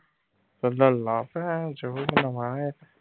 ਤੇ ਲਲਾ ਨਵਾਂ ਇਹ ਤਾਂ।